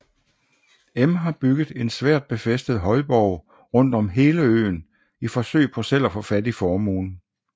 M har bygget en svært befæstet højborg rundt om hele øen i forsøg på selv at få fat i formuen